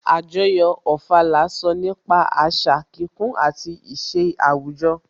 Àjọyọ̀ Ofala sọ nípa àṣà kíkún àti ìṣe àwùjọ